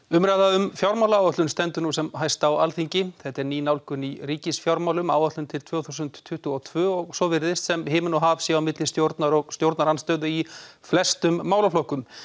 umræða um fjármálaáætlun stendur nú sem hæst á Alþingi þetta er ný nálgun í ríkisfjármálum áætlun til tvö þúsund tuttugu og tvö og svo virðist sem himinn og haf sé á milli stjórnar og stjórnarandstöðu í flestum málaflokkum